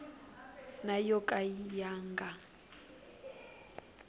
na yo ka ya nga